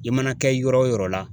I mana kɛ yɔrɔ wo yɔrɔ la